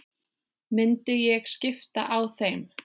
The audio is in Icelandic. Myndi ég skipta á þeim?